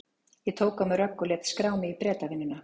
Ég tók á mig rögg og lét skrá mig í Bretavinnuna.